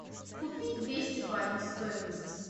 купить двести батов стоимость